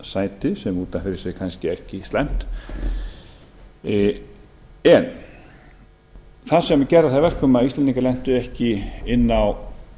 sæti sem er út af fyrir kannski ekki slæmt það sem gerði það að verkum að íslendingar lentu ekki inni á